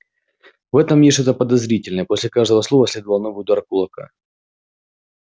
в этом есть что-то подозрительное после каждого слова следовал новый удар кулака